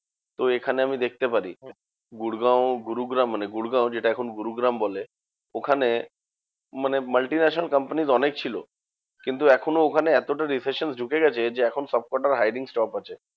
তো এখানে আমি দেখতে পারি। গুরগাঁও গুরুগ্রাম মানে গুরগাঁও যেটা এখন গুরুগ্রাম বলে, ওখানে মানে multi national companies অনেক ছিল। কিন্তু এখনও ওখানে এতটা recession ঢুকে গেছে যে, এখন সবকটার hiring stop আছে।